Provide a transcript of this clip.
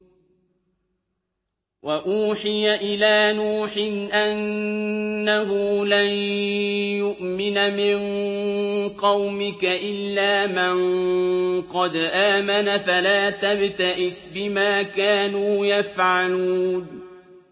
وَأُوحِيَ إِلَىٰ نُوحٍ أَنَّهُ لَن يُؤْمِنَ مِن قَوْمِكَ إِلَّا مَن قَدْ آمَنَ فَلَا تَبْتَئِسْ بِمَا كَانُوا يَفْعَلُونَ